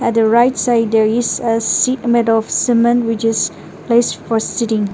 the right side there is a seat made of cement which is place for seating.